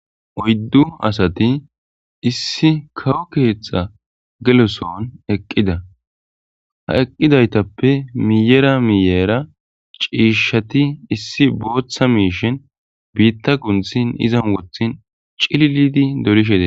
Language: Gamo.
oyddu asati issi kawo keththa geloson eqqida ha eqqidaytappe miyera miyera ciishshati issi booththa miishin biitta kunthin izan wothin cillidi dolishede.